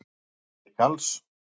Heimir Karls.